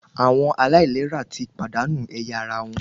Àwọn aláìlera ti pàdánù ẹ̀yà ara wọn